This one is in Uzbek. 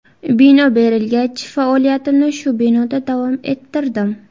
Bino berilgach, faoliyatimni shu binoda davom ettirdim.